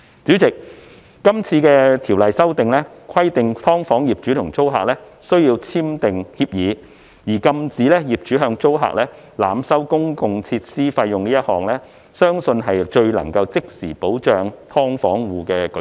主席，今次《條例草案》規定"劏房"業主和租客須簽訂協議，而禁止業主向租客濫收公用設施費用一項，相信是最能夠即時保障"劏房戶"的舉措。